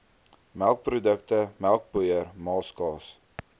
melkprodukte melkpoeier maaskaas